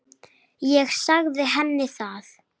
Ég sagði henni það.